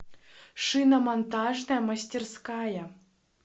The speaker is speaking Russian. шиномонтажная мастерская